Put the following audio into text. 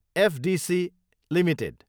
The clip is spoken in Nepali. FDC Ltd